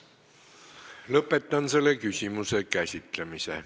Lõpetan selle küsimuse käsitlemise.